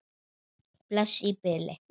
Bless í bili!